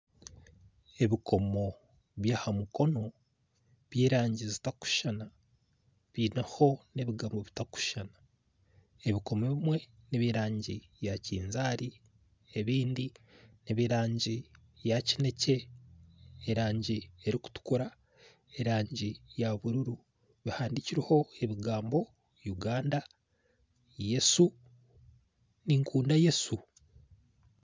Ebikomo byaha mukono by'erangi zitarikushushana byineho n'ebigambo bitarikushushana ebikomo ebimwe nebyerangi ya kinzaari ebindi neby'erangi ya kinekye erangi erikutukura erangi eyabururu eriho ebigambo uganda Yesu ninkunda Yesu